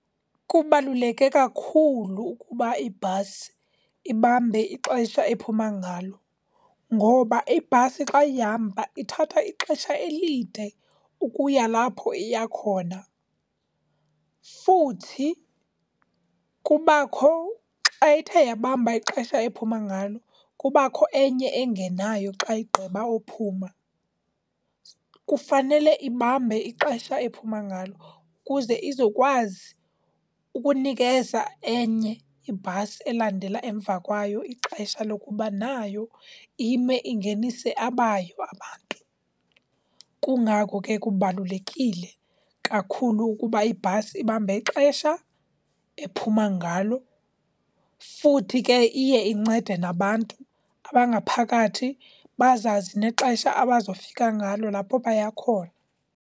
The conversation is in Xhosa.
Kubaluleke kakhulu ukuba ibhasi ibambe ixesha ephuma ngalo ngoba ibhasi xa ihamba ithatha ixesha elide ukuya lapho iya khona. Futhi kubakho xa ithe yabamba ixesha ephuma ngalo, kubakho enye engenayo xa igqiba owuphuma. Kufanele ibambe ixesha ephuma ngalo, kuze izokwazi ukunikeza enye ibhasi elandela emva kwayo ixesha lokuba nayo ime, ingenise abayo abantu. Kungako ke kubalulekile kakhulu ukuba ibhasi ibambe ixesha ephuma ngalo, futhi ke iye incede nabantu abangaphakathi bazazi nexesha abazawufika ngalo lapho baya khona.